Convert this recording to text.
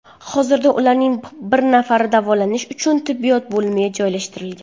Hozirda ularning bir nafari davolanish uchun tibbiyot bo‘limiga joylashtirilgan.